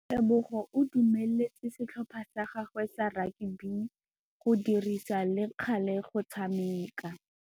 Tebogô o dumeletse setlhopha sa gagwe sa rakabi go dirisa le galê go tshameka.